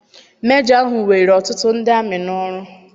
Mejọ ahụ were ọtụtụ ndị amị n'ọrụ.